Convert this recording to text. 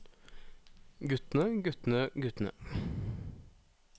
guttene guttene guttene